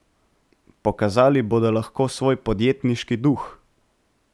Pokazali bodo lahko svoj podjetniški duh.